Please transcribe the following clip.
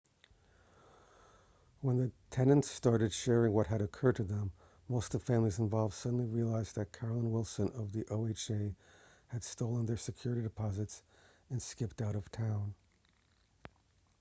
when the tenants started sharing what had occurred to them most of the families involved suddenly realized that carolyn wilson of the oha had stolen their security deposits and skipped out of town